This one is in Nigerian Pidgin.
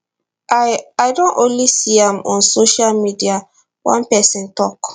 i i don only see am on social media one pesin tok